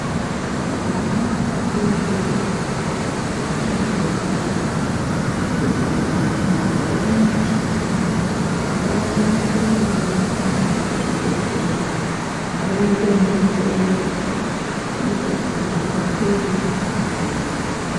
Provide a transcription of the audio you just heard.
Vana vadodori vachabve kubarwa kuguma pamakore mashanu, ngavarambe veiendwa navo kuzvibhedhlera, vodonhedzerwa kuite kuti vakure vakagwinya.